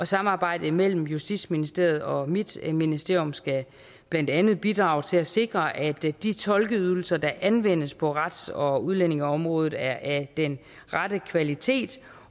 samarbejdet mellem justitsministeriet og mit ministerium skal blandt andet bidrage til at sikre at de tolkeydelser der anvendes på rets og udlændingeområdet er af den rette kvalitet